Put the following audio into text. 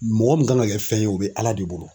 Mɔgɔ mun kan ka kɛ fɛn ye, o be Ala de bolo.